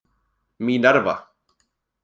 Mínerva